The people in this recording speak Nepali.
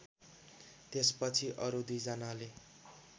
त्यसपछि अरु दुईजनाले